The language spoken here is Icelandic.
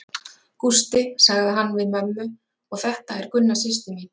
Gústi, sagði hann við mömmu og þetta er Gunna systir mín.